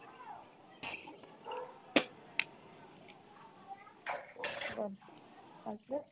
বল তারপরে।